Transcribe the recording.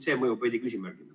See mõjub veidi nagu küsimärgina.